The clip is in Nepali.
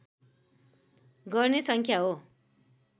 गर्ने संस्था हो